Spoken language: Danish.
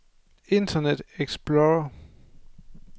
internet explorer